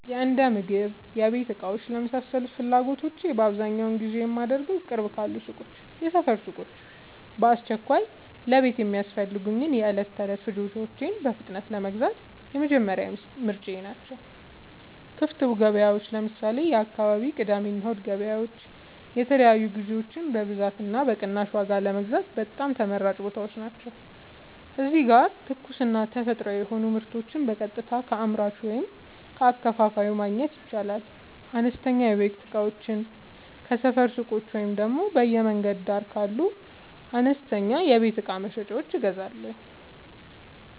የእንደምግብና የቤት እቃዎች ለመሳሰሉት ፍላጎቶቼ በአብዛኛው ግዢ የማደርገዉ፦ ቅርብ ካሉ ሱቆች (የሰፈር ሱቆች)፦ በአስቸኳይ ለቤት የሚያስፈልጉ የዕለት ተዕለት ፍጆታዎችን በፍጥነት ለመግዛት የመጀመሪያ ምርጫየ ናቸው። ክፍት ገበያዎች (ለምሳሌ፦ የአካባቢው የቅዳሜና እሁድ ገበያዎች) የተለያዩ ግዥዎችን በብዛትና በቅናሽ ዋጋ ለመግዛት በጣም ተመራጭ ቦታዎች ናቸው። እዚህ ጋር ትኩስና ተፈጥሯዊ የሆኑ ምርቶችን በቀጥታ ከአምራቹ ወይም ከአከፋፋዩ ማግኘት ይቻላል። አነስተኛ የቤት እቃዎችን ከሰፈር ሱቆች ወይም በየመንገዱ ዳር ካሉ አነስተኛ የቤት እቃ መሸጫዎች እገዛለሁ።